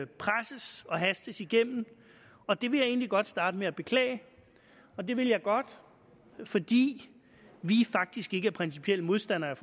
presses og hastes igennem og det vil jeg egentlig godt starte med at beklage det vil jeg godt fordi vi faktisk ikke er principielt modstandere